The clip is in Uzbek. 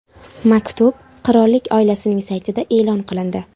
Maktub qirollik oilasining saytida e’lon qilindi .